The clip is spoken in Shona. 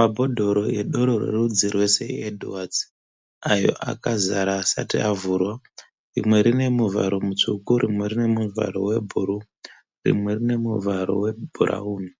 Mbhodhoro edoro rwe rudzi rwe "sir edwards" ayo akazara asati avurwa. Rimwe rine muvaro musvuku, rimwe rinemuvara webhuru, rimwe rinemuvaro webhurawuni.